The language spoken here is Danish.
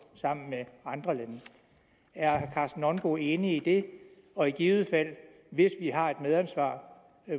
sammen med andre lande er herre karsten nonbo enig i det og i givet fald hvis vi har et medansvar